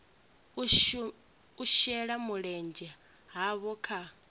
u shela mulenzhe havho kha